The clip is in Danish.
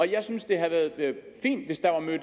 jeg synes det havde været fint hvis der var mødt